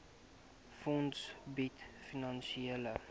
fonds bied finansiële